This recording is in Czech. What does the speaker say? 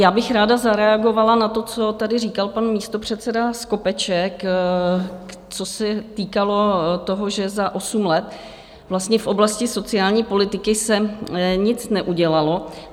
Já bych ráda zareagovala na to, co tady říkal pan místopředseda Skopeček, co se týkalo toho, že za osm let vlastně v oblasti sociální politiky se nic neudělalo.